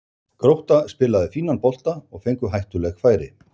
Grótta spilaði fínan bolta og fengu hættuleg færi.